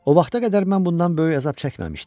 O vaxta qədər mən bundan böyük əzab çəkməmişdim.